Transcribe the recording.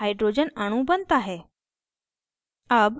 hydrogen अणु बनता है